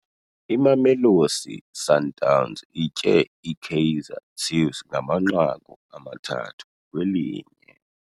Imamelosi Sundowns itye iKaizer Chiefs ngamanqaku amathathu kwelinye.